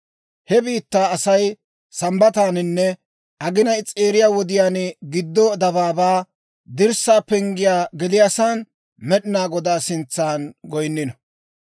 He biittaa asaykka Sambbataaninne aginay s'eeriya wodiyaan giddo dabaabaa dirssaa penggiyaa geliyaasan, Med'inaa Godaa sintsan goyinnino.